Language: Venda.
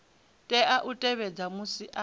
tea u tevhedza musi a